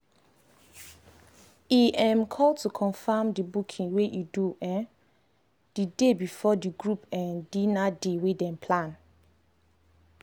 e um call to confirm the booking wey e do um the day before the group um dinner day wey dem plan.